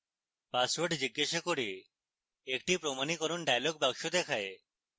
password জিজ্ঞাসা করে একটি প্রমাণীকরণ dialog box দেখায়